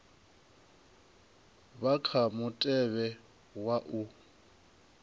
vha kha mutevhe wa u